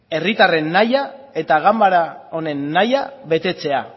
herritarren nahia eta ganbara honen nahia betetzea